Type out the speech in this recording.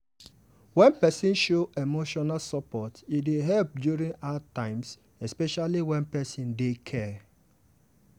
wen person show emotional support e dey help during hard times especially where people dey care.